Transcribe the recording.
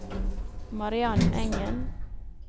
Mariann Engen